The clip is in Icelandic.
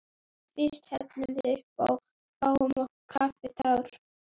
Fyrst hellum við uppá og fáum okkur kaffitár.